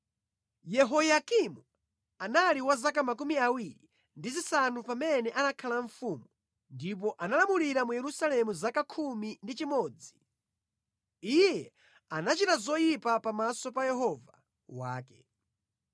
Yehoyakimu anali wa zaka 25 pamene anakhala mfumu, ndipo analamulira mu Yerusalemu zaka 11. Iye anachita zoyipa pamaso pa Yehova Mulungu wake.